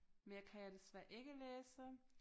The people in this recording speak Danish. Mere kan jeg desværre ikke læse